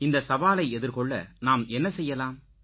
இந்த சவாலை எதிர்கொள்ள நாம் என்ன செய்யலாம்